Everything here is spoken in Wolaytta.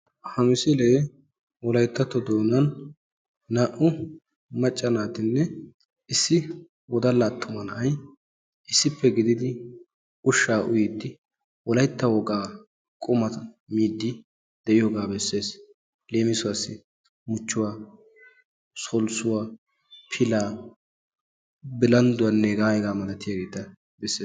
Ha misilee wolayttatto doonan naa"u macca naatinne issi woddala attuma na'ay issippe gididi ushsha uyyiyidi wolaytta wogaa qumma miidi diyooga bessees. Leemissuwassi muchchuwa, sollissuwa, pilaa, bilndduwanne hega hegaa malatiyaageera bessees.